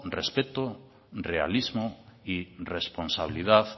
respeto realismo y responsabilidad